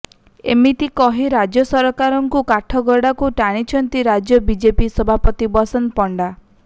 ଏମିତି କହି ରାଜ୍ୟ ସରକାରଙ୍କୁ କାଠଗଡାକୁ ଟାଣିଛନ୍ତି ରାଜ୍ୟ ବିଜେପି ସଭାପତି ବସନ୍ତ ପଣ୍ଡା